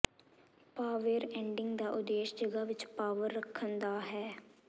power ending ਦਾ ਉਦੇਸ਼ ਜਗ੍ਹਾ ਵਿਚ ਪਾਵਰ ਰੱਖਣ ਦਾ ਹੈ